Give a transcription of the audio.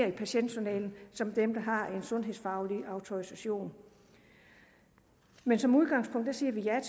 i patientjournalen som dem der har en sundhedsfaglig autorisation men som udgangspunkt siger vi ja